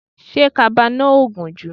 Ṣé kaba náà ò gùn jù?